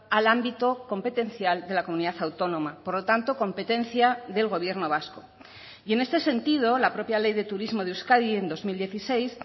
al ámbito competencial de la comunidad autónoma por lo tanto competencia del gobierno vasco y en este sentido la propia ley de turismo de euskadi en dos mil dieciséis